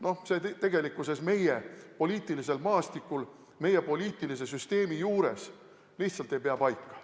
Noh, see tegelikkuses meie poliitilisel maastikul, meie poliitilise süsteemi juures lihtsalt ei pea paika.